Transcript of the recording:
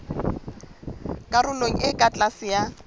karolong e ka tlase ya